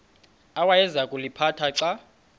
awayeza kuliphatha xa